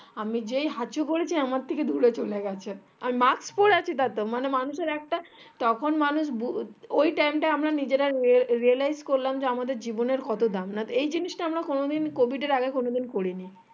আমি যেই হাচু করেছি আমার থেকে দূরে চলে গেছে আর mask পরে আছি তাতেও মানে মানুষ এরতখন মানুষ ওই time তা আমরা নিজেরা realize করলাম যে আমাদের জীবনের কত দাম নাতো এই জিনিষটা আমরা কোনোদিন COVID এর আগে কোনোদিন করিনি